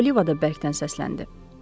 O'Liva da bərkdən səsləndi.